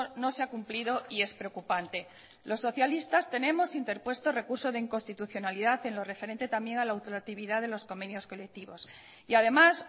no se ha cumplido y es preocupante los socialistas tenemos interpuesto recurso de inconstitucionalidad en lo referente también a la ultractividad de los convenios colectivos y además